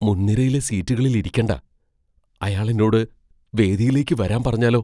മുൻനിരയിലെ സീറ്റുകളിൽ ഇരിക്കണ്ട. അയാൾ എന്നോട് വേദിയിലേക്ക് വരാൻ പറഞ്ഞാലോ!